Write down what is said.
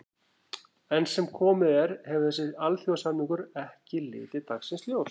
Enn sem komið er hefur þessi alþjóðasamningur ekki litið dagsins ljós.